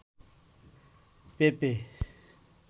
পেঁপে